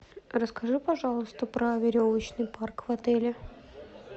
расскажи пожалуйста про веревочный парк в отеле